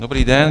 Dobrý den.